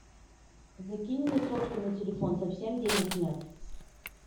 закинь мне сотку на телефон совсем денег нет